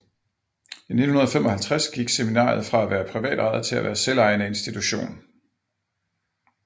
I 1955 gik seminariet fra at være privatejet til at være selvejende institution